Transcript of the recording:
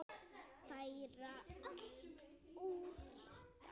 Færa allt úr stað.